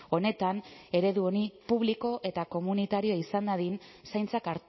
honetan eredu hori publiko eta komunitarioa izan dadin zaintzak